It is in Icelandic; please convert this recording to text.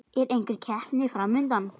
Er einhver keppni fram undan?